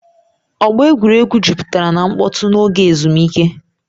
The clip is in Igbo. Ọgba egwuregwu jupụtara na mkpọtụ n'oge ezumike